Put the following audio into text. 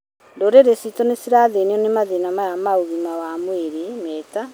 Ndũrĩrĩ citũ nĩ cirathĩnio nĩ mathĩna maya ma ũgima wa mwĩrĩ, me ta: